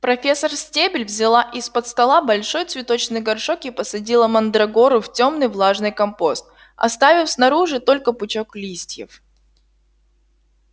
профессор стебель взяла из-под стола большой цветочный горшок и посадила мандрагору в тёмный влажный компост оставив снаружи только пучок листьев